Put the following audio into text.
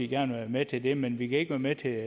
gerne være med til det men vi kan ikke være med til